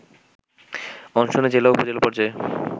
অনশনে জেলা ও উপজেলা পর্যায়ের